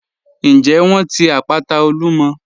Ǹjẹ wọ́n ti àpàtà Olúmọ̀?